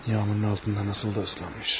Yağmurun altında necə də islanmış.